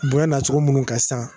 Bonya na cogo minnu kan sisan